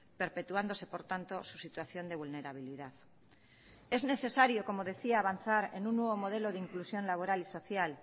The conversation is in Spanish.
perpetuándose por tanto su situación de vulnerabilidad es necesario como decía avanzar en un nuevo modelo de inclusión laboral y social